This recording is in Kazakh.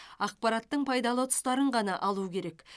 ақпараттың пайдалы тұстарын ғана алу керек